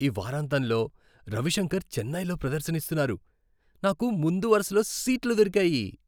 ఈ వారాంతంలో రవిశంకర్ చెన్నైలో ప్రదర్శన ఇస్తున్నారు, నాకు ముందు వరుసలో సీట్లు దొరికాయి!